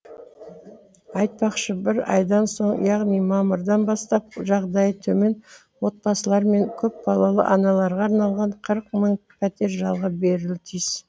айтпақшы бір айдан соң яғни мамырдан бастап жағдайы төмен отбасылар мен көпбалалы аналарға арналған қырық мың пәтер жалға берілуі тиіс